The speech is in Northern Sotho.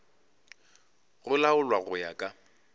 go laolwa go ya ka